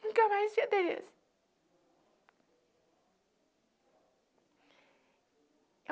Nunca mais vi a Tereza.